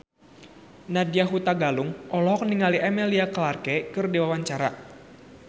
Nadya Hutagalung olohok ningali Emilia Clarke keur diwawancara